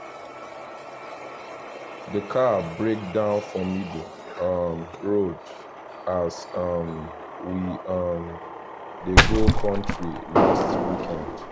the car break down for middle um road as um we um dey go countryside last weekend